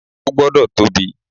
O gbọ́dọ̀ tóbi.